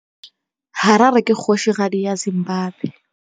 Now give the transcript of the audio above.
Harare ke kgosigadi ya Zimbabwe.